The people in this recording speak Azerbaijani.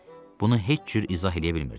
Bunu heç cür izah eləyə bilmirdim.